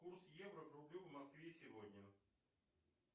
курс евро к рублю в москве сегодня